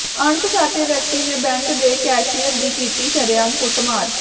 ਅਣਪਛਾਤੇ ਵਿਅਕਤੀ ਨੇ ਬੈਂਕ ਦੇ ਕੈਸ਼ੀਅਰ ਦੀ ਕੀਤੀ ਸ਼ਰੇਆਮ ਕੁੱਟਮਾਰ